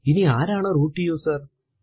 ഇനി ആരാണ് root user